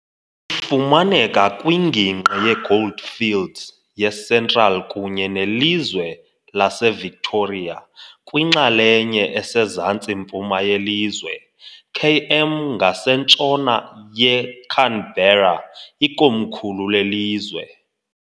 Ifumaneka kwingingqi yeGoldfields yeCentral kunye nelizwe laseVictoria, kwinxalenye esezantsi-mpuma yelizwe, km ngasentshona yeCanberra, ikomkhulu lelizwe.